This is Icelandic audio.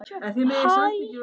Kolbrún Þóra.